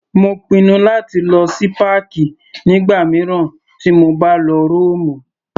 Mo pinnu láti lọ sí páàkì nígbà mìíràn tí mo bá lọ Rómù.